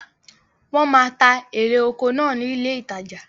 Wọ́n máa ń ta erè oko náà ní ilé ìtajà.